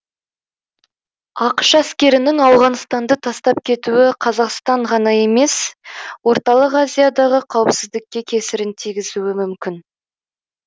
ақш әскерінің ауғанстанды тастап кетуі қазақстан ғана емес орталық азиядағы қауіпсіздікке кесірін тигізуі мүмкін